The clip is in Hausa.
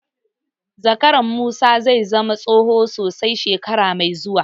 Zakaran Musa zai zama tsoho sosai shekara mai zuwa.